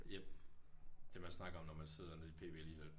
Jep. Det man snakker om når man sidder nede i pb alligevel